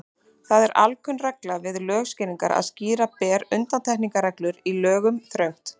Það er alkunn regla við lögskýringar að skýra ber undantekningarreglur í lögum þröngt.